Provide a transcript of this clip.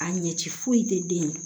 A ɲɛ ci foyi tɛ den na